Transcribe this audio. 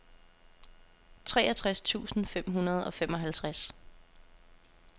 treogtres tusind fem hundrede og femoghalvtreds